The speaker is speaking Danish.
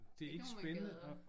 Det er ikke nogen man gad at